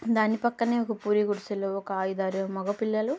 దాని పక్కనే ఒక పూరి గుడిసెలో ఒక ఐదు ఆరుగురు మగ పిల్లలు --